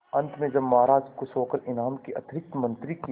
अंत में जब महाराज खुश होकर इनाम के अतिरिक्त मंत्री के